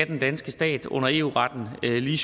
den danske stat under eu retten lige